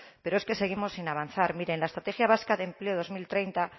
pero es que seguimos sin avanzar mire en la estrategia vasca de empleo dos mil treinta